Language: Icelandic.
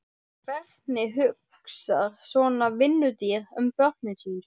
Hvernig hugsar svona vinnudýr um börnin sín?